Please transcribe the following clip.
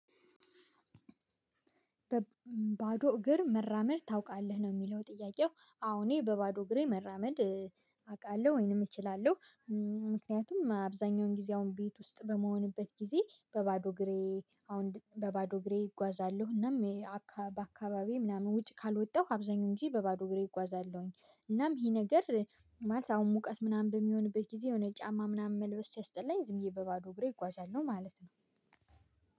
በባዶ እግር መራመድ ታውቃለህ ነው? የሚለው ጥያቄው አዎ እኔ በባዶ እግሬ መራመድ አውቃለሁ ወይንም እችላለሁ። ምክንያቱም አብዛኛውን ጊዜ አሁን ቤት ውስጥ በምሆንበት ጊዜ በባዶ እግሬ አሁን በባዶ እግሬ እጓዛለሁ እናም በአካባቢው ምናምን ውጭ ካልወጣሁ አብዛኛው እንጂ በባዶ እግሬ እጓዛለሁኝ። እናም ይሄ ነገር ማለት አሁን ሙቀት ምናምን በሚሆንበት ጊዜ የሆነ ጫማ ምናምን መልበስ ሲያስጠላኝ ዝምዬ በባዶ እግሬ ይጓዛለሁ ማለት ነው።